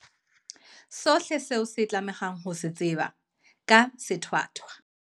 Sohle seo o tlamehang ho se tseba ka sethwathwa